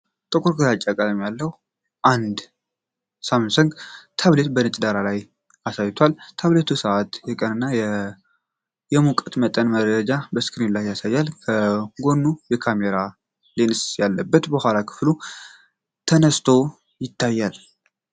ጥቁር ግራጫ ቀለም ያለው አንድ ሳምሰንግ ታብሌት በነጭ ዳራ ላይ አሳይቷል። ታብሌቱ የሰዓት፣ የቀንና የሙቀት መጠን መረጃ በስክሪኑ ላይ ያሳያል፤ ከጎኑም የካሜራ ሌንስ ያለበት የኋላ ክፍሉ ተነስቶ ይታያል።